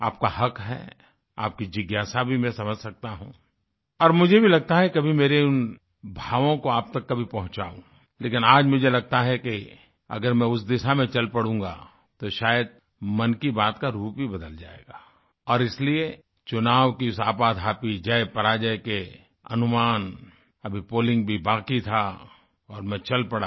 आपका हक़ है आपकी जिज्ञासा भी मैं समझ सकता हूँ और मुझे भी लगता है कि कभी मेरे उन भावों को आप तक कभी पहुँचाऊँलेकिन आज मुझे लगता है कि अगर मैं उस दिशा में चल पड़ूंगा तो शायद मन की बात का रूप ही बदल जाएगा और इसलिए चुनाव की इस आपाधापी जयपराजय के अनुमान अभी पोलिंग भी बाकी था और मैं चल पड़ा